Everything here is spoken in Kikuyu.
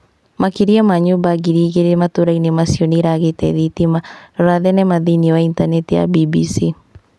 Makĩria ma nyũmba ngiri igĩrĩ matũra-ini macio nĩiragĩte thitima. Rora thenema thĩinĩ wa intaneti ya BBC